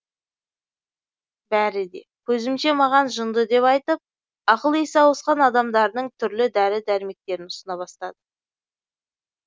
бәрі де көзімше маған жынды деп айтып ақыл есі ауысқан адамдардың түрлі дәрі дәрмектерін ұсына бастады